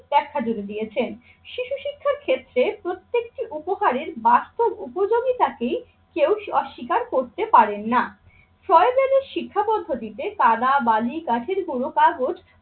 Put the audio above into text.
ব্যাখ্যা জুড়ে দিয়েছেন। শিক্ষার ক্ষেত্রে প্রত্যেকটি উপহারের বাস্তব উপযোগীতাকেই কেউ অস্বীকার করতে পারেন না। ছয়জনের শিক্ষা পদ্ধতিতে কাদা, বালি, কাঠের গুঁড়ো, কাগজ,